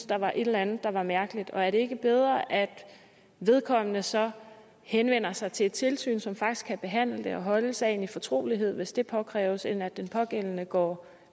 der var et eller andet der var mærkeligt og er det ikke bedre at vedkommende så henvender sig til et tilsyn som faktisk kan behandle det og holde sagen i fortrolighed hvis det påkræves end at den pågældende går